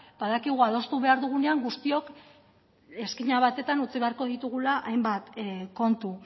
badakigu adostu behar dugunean guztiak izkina batetan utzi beharko ditugula hainbat kontu